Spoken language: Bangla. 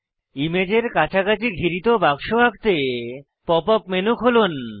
ইমেজের কাছাকাছি ঘিরিত বাক্স আঁকতে পপ আপ মেনু খুলুন